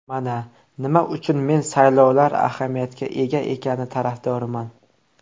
Mana, nima uchun men saylovlar ahamiyatga ega ekani tarafdoriman.